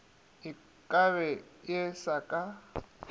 e kabe e se ka